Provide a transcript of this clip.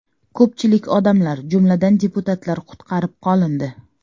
Ko‘pchilik odamlar, jumladan, deputatlar qutqarib qolindi.